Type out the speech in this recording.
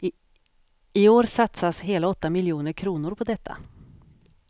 I år satsas hela åtta miljoner kronor på detta.